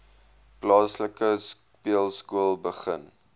plaaslike speelskool begin